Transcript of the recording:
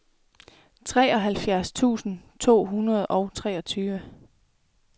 treoghalvfjerds tusind to hundrede og treogtyve